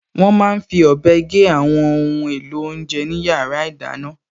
Wọ́n máa n fi ọ̀bẹ gé àwọn ohun èlò oúnjẹ ní yàrá ìdáná